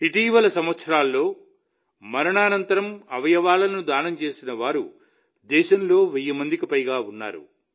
ఇటీవలి సంవత్సరాల్లో మరణానంతరం అవయవాలను దానం చేసిన వారు దేశంలో వెయ్యి మందికి పైగా ఉన్నారు